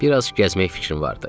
Biraz gəzmək fikrim vardı.